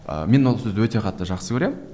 ы мен ол сөзді өте қатты жақсы көремін